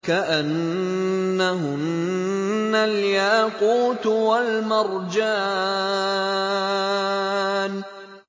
كَأَنَّهُنَّ الْيَاقُوتُ وَالْمَرْجَانُ